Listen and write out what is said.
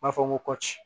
U b'a fɔ ko kɔci